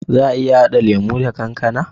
Za a iya hada lemo da kankAna?